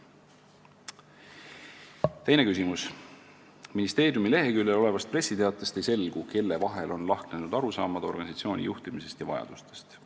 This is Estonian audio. Teine küsimus: "Ministeeriumi leheküljel olevast pressiteatest ei selgu, kelle vahel on lahknenud arusaamad organisatsiooni juhtimisest ja vajadustest?